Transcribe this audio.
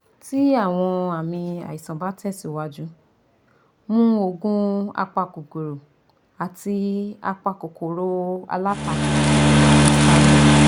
Ti awọn aami aisan ba tẹsiwaju, mu oogun apakokoro ati apakokoro alatako-histamine